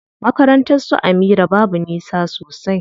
Makarnatar su Amira babu nisa sosai.